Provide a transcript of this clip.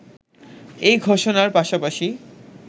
এই ঘোষণার পাশাপাশি